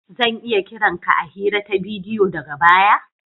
Zan iya kiran ka a hira ta bidiyo daga baya?